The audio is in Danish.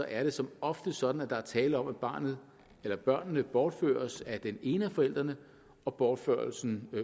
er det som oftest sådan at der er tale om at barnet eller børnene bortføres af den ene af forældrene og bortførelsen